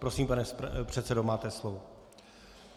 Prosím, pane předsedo, máte slovo.